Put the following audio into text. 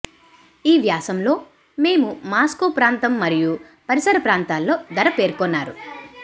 ఈ వ్యాసం లో మేము మాస్కో ప్రాంతం మరియు పరిసర ప్రాంతాల్లో ధర పేర్కొన్నారు